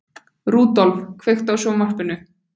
Rudolf, kveiktu á sjónvarpinu.